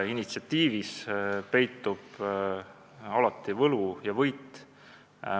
Initsiatiivis peitub alati võlu ja võit.